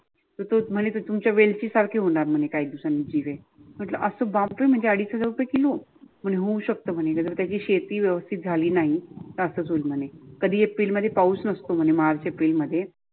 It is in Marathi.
तर तो म्हणे तुमच्या वेलची सारखे होणार म्हणे काही दिवसांनी जिरे. म्हटल अस चाळीस हजार रुपये किलो म्हणजे अडीच रुपये किलो होऊ शकतं म्हणे होवू शकत म्हणे कारण त्याची शेती व्यवस्थित झाली नाही असच होईल म्हणे. कधी एप्रिल मध्ये पावूस नसते म्हणे मार्च एप्रिल म्हणे.